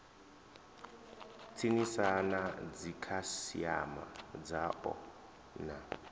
tsinisa na dzikhasiama dzao na